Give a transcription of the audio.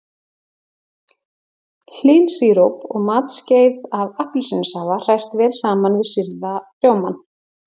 Hlynsíróp og matskeið af appelsínusafa hrært vel saman við sýrða rjómann.